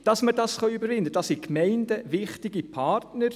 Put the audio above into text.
Damit wir es überwinden können, dafür sind die Gemeinden wichtige Partner.